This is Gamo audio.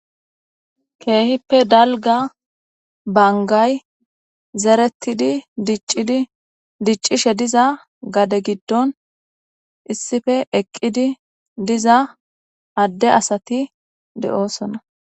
Keehippe dalga bangay zerettidi diccidi diccishe diza gade giddon issife eqqidi diza adde asati de7oosona